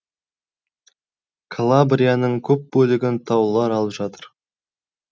калабрияның көп бөлігін таулар алып жатыр